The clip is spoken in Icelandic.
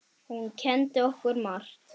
Hún kenndi okkur margt.